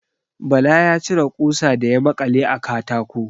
Bala ya cire ƙusa da ya maƙale a katako.